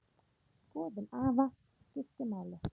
Skoðun afa skipti máli.